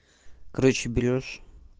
короче берёшь